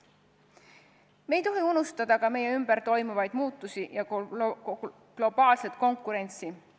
Me ei tohi unustada ka meie ümber toimuvaid muutusi ja globaalset konkurentsi.